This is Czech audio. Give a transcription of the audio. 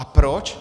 A proč?